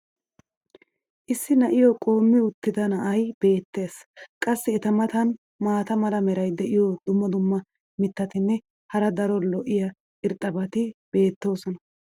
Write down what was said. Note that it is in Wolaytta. issi na'iyo qoommi uttida na"ay beetees. qassi eta matan maata mala meray diyo dumma dumma mitatinne hara daro lo'iya irxxabati beetoosona.